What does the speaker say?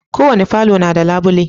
Ko wani falo na da labule.